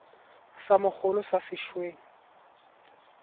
sa mogolo sa se weng